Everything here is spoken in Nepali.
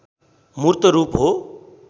मूर्त रूप हो